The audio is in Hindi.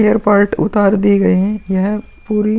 एयर पार्ट उतार दिए गए हैं। यह पूरी --